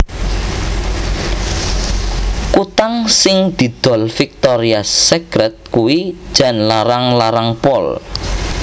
Kutang sing didol Victoria's Secret kuwi jan larang larang pol